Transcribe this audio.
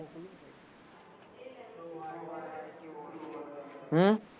હમ